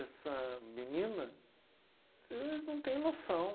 Essa menina, vocês não têm noção.